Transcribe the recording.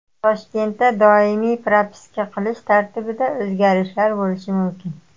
Toshkentda doimiy propiska qilish tartibida o‘zgarishlar bo‘lishi mumkin.